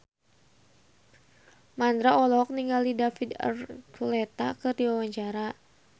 Mandra olohok ningali David Archuletta keur diwawancara